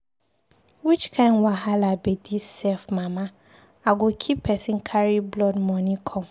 Which kin wahala be dis sef Mama, I go kill person carry blood money come?